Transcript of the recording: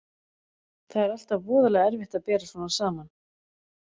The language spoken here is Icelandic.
Það er alltaf voðalega erfitt að bera svona saman.